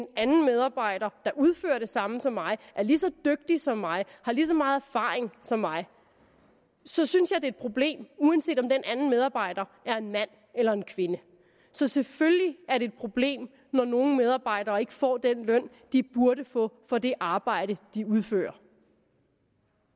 en anden medarbejder der udfører det samme som mig er lige så dygtig som mig har lige så meget erfaring som mig så synes jeg det er et problem uanset om den anden medarbejder er en mand eller en kvinde så selvfølgelig er det et problem når nogle medarbejdere ikke får den løn de burde få for det arbejde de udfører